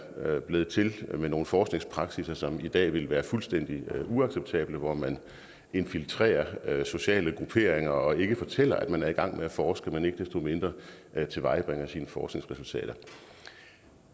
blevet til ved nogle forskningspraksisser som i dag ville være fuldstændig uacceptable hvor man infiltrerer sociale grupperinger og ikke fortæller at man er i gang med at forske men ikke desto mindre tilvejebringer sine forskningsresultater